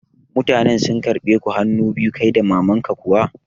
Mutanen sun karɓe ku hanu biyu kai da maman ka kuwa?